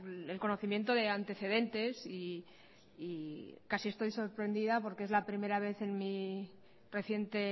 el conocimiento de antecedentes y casi estoy sorprendida porque es la primera vez en mi reciente